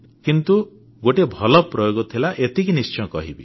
କିନ୍ତୁ ଗୋଟିଏ ଭଲ ପ୍ରୟୋଗ ଥିଲା ଏତିକି ନିଶ୍ଚୟ କହିବି